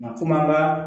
Nka komi an ka